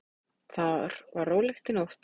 Þar var rólegt í nótt.